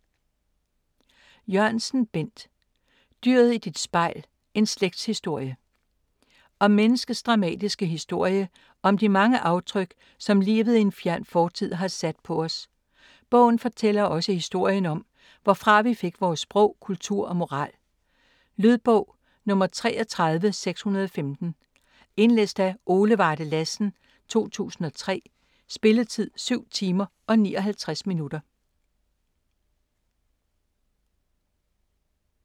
Jørgensen, Bent: Dyret i dit spejl: en slægtshistorie Om menneskets dramatiske historie og om de mange aftryk, som livet i en fjern fortid har sat på os. Bogen fortæller også historien om hvorfra vi fik vores sprog, kultur og moral. Lydbog 33615 Indlæst af Ole Varde Lassen, 2003. Spilletid: 7 timer, 59 minutter.